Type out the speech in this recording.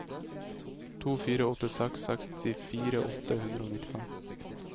to fire åtte seks sekstifire åtte hundre og nittifem